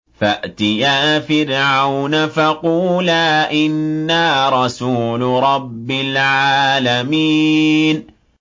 فَأْتِيَا فِرْعَوْنَ فَقُولَا إِنَّا رَسُولُ رَبِّ الْعَالَمِينَ